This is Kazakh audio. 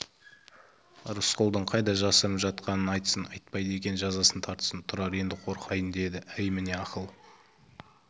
рысқұлдың қайда жасырынып жатқанын айтсын айтпайды екен жазасын тартсын тұрар енді қорқайын деді әй міне ақыл